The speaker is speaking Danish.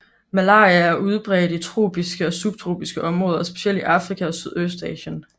Malaria er udbredt i tropiske og subtropiske områder specielt i Afrika og Sydøstasien